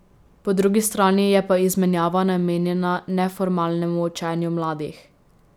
Po drugi strani je pa izmenjava namenjena neformalnemu učenju mladih.